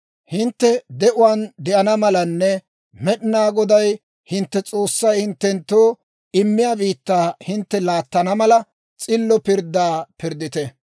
Hintte de'uwaan de'ana malanne Med'inaa Goday hintte S'oossay hinttenttoo immiyaa biittaa hintte laattana mala, s'illo pirddaa pirddite.